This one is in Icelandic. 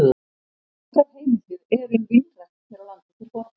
Nokkrar heimildir eru um línrækt hér á landi til forna.